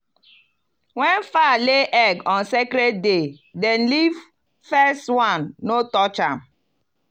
when fowl lay egg on sacred day dem leave first one no touch am.